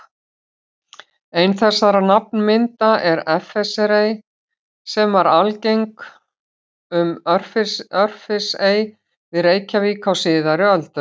Ein þessara nafnmynda er Effersey, sem var algeng um Örfirisey við Reykjavík á síðari öldum.